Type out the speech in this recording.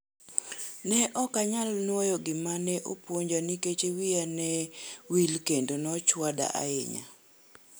Neokanyal nuoyo gima ne opuonja nikech wiya ne wil kendo nochwada ahimya.